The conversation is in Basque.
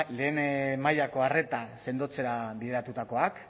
lehen mailako arreta sendotzera bideratutakoak